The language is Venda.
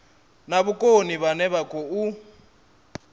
na vhukoni vhane vha khou